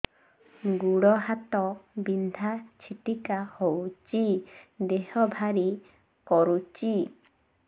ଗୁଡ଼ ହାତ ବିନ୍ଧା ଛିଟିକା ହଉଚି ଦେହ ଭାରି କରୁଚି